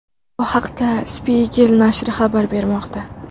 Bu haqda Spiegel nashri xabar bermoqda .